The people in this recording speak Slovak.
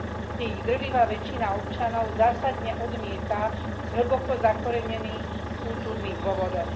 V tých drvivá väčšina občanov zásadne odmieta z hlboko zakorenených kultúrnych dôvodov.